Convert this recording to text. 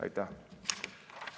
Aitäh!